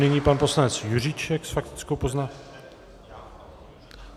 Nyní pan poslanec Juříček s faktickou poznámkou...